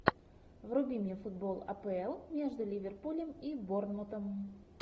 вруби мне футбол апл между ливерпулем и борнмутом